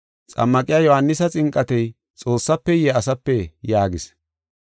Xammaqiya Yohaanisa xinqatey Xoossafeye asapee?” yaagis.